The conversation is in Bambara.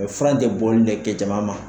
Mɛ fura in te bɔli le kɛ jama ma